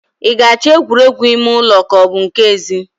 I ga-achọ egwuregwu ime ụlọ ka ọ bu nke ezi?